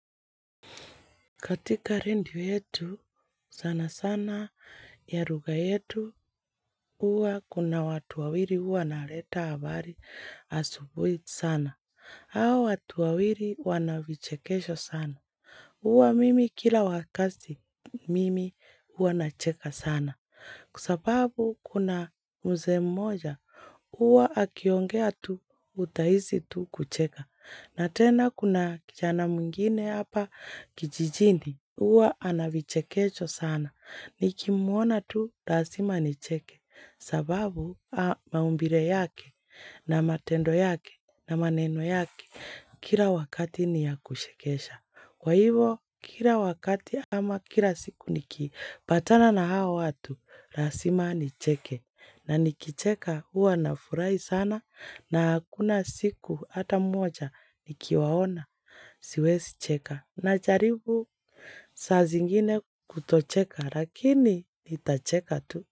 Katika redio yetu, sana sana, ya lugha yetu, huwa kuna watu wawili huwa wanaleta habari asubuhi sana. Hawa watu wawili wana vichekesho sana. Huwa mimi kila wakati mimi huwa nacheka sana. Kwa sababu kuna mzee mmoja, huwa akiongea tu utahisi tu kucheka. Na tena kuna kijana mwngine hapa kijijini. Huwa ana vichekecho sana. Nikimuona tu, lazima nicheke. Sababu, maumbile yake, na matendo yake, na maneno yake. Kila wakati ni yakushekesha. Kwa hivyo, kila wakati ama kila siku nikipatana na hao watu, lazima nicheke. Na nikicheka huwa na furahi sana na hakuna siku hata moja nikiwaona siwezicheka najaribu saa zingine kutocheka lakini nitacheka tu.